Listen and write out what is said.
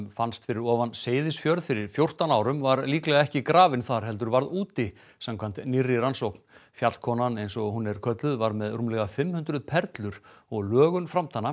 fannst fyrir ofan Seyðisfjörð fyrir fjórtán árum var líklega ekki grafin þar heldur varð úti samkvæmt nýrri rannsókn fjallkonan eins og hún er kölluð var með rúmlega fimm hundruð perlur og lögun